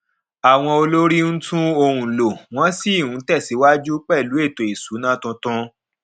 àwọn olórí ń tun ohun lò wọn sì ń tẹsíwájú pẹlú ètò ìṣúnná tuntun